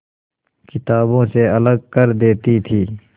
किताबों से अलग कर देती थी